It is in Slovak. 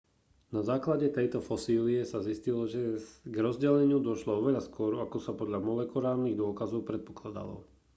na základe tejto fosílie sa zistilo že k rozdeleniu došlo oveľa skôr ako sa podľa molekulárnych dôkazov predpokladalo